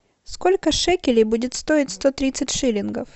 сколько шекелей будет стоить сто тридцать шиллингов